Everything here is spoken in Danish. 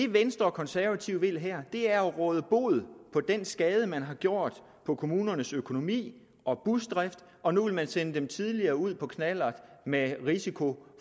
venstre og konservative vil her er at råde bod på den skade man har gjort på kommunernes økonomi og busdrift og nu vil man sende tidligere ud på knallert med risiko